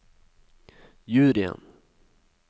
juryen